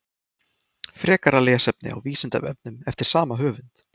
Frekara lesefni á Vísindavefnum eftir sama höfund: Hvers vegna eru pöndur í útrýmingarhættu?